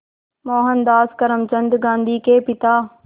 मोहनदास करमचंद गांधी के पिता